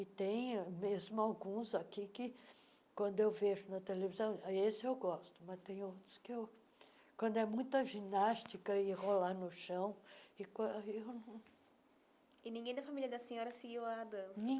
E tem mesmo alguns aqui que, quando eu vejo na televisão, ah esse eu gosto, mas tem outros que eu... Quando é muita ginástica e rolar no chão e quan eu não... E ninguém da família da senhora seguiu a dança